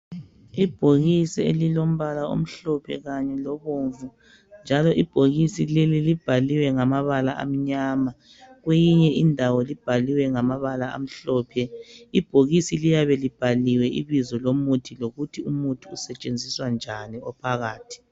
Ibhokisi elilombala omhlophe kanye lobomvu. Njalo ibhokisi leli libhaliwe ngamabala amanyama, kweyinye indawo libhaliwe ngamabala amhlophe. Ibhokisi liyabe libhaliwe ibizo lomuthi lokuthi umuthi usetshenziswa njani ophakathi.